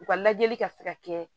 U ka lajɛli ka se ka kɛ